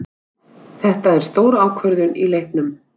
Þetta er stór ákvörðun í leiknum.